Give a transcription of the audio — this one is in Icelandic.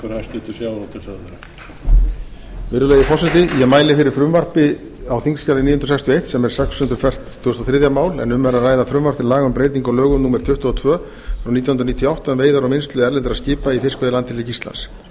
virðulegi forseti ég mæli fyrir frumvarp á þingskjali níu hundruð sextíu og eitt sem er sex hundruð fertugasta og þriðja mál en um er að ræða frumvarp til laga um breytingu á lögum númer tuttugu og tvö nítján hundruð níutíu og átta um veiðar og vinnslu erlendra skipa í fiskveiðilandhelgi íslands